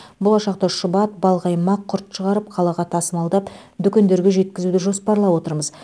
болашақта шұбат балқаймақ құрт шығарып қалаға тасымалдап дүкендерге жеткізуді жоспарлап отырмыз